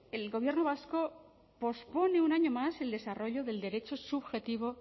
el gobierno vasco pospone un año más el desarrollo del derecho subjetivo